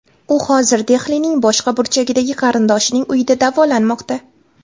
U hozir Dehlining boshqa burchagidagi qarindoshining uyida davolanmoqda.